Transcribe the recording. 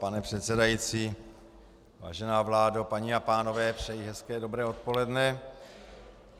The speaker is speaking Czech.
Pane předsedající, vážená vládo, paní a pánové, přeji hezké, dobré odpoledne.